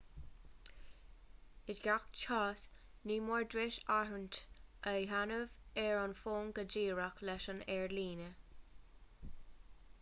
i ngach cás ní mór duit áirithint a dhéanamh ar an bhfón go díreach leis an aerlíne